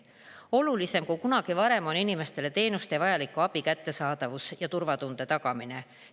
Olulisem kui kunagi varem on inimestele teenuste ja vajaliku abi kättesaadavus ja turvatunde tagamine.